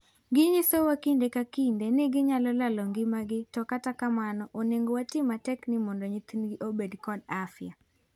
Ginyisowa kinde ka kinde ni ginyalo lalo ngima gi to kata kamano onego watii matek ni mondo nyithindgi obed kod afya.